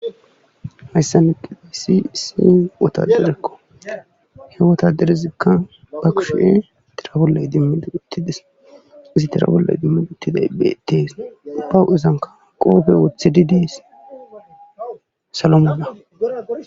Hayssan diyayssi wotadarakko he wotadaray ba kushe idimidi uttiday beetees. huuphezankka qoophe wotidi dees. salo mala